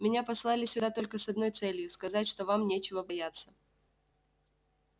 меня послали сюда только с одной целью сказать что вам нечего бояться